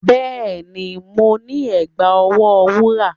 Yes, I have a golden bracelet